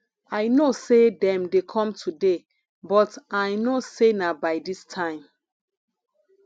i know say dem dey come today but i no say na by dis time